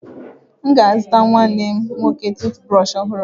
M ga a zụtara nwanne nwoke tụụt brọshị ọhụrụ.